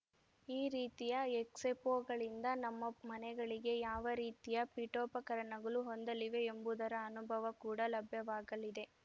ಈ ರೀತಿಯ ಎಕ್ಸೆಫೋ ಗಳಿಂದ ನಮ್ಮ ಮನೆಗಳಿಗೆ ಯಾವ ರೀತಿಯ ಪೀಠೋಪಕರಣಗಳು ಹೊಂದಲಿವೆ ಎಂಬುದರ ಅನುಭವ ಕೂಡ ಲಭ್ಯವಾಗಲಿದೆ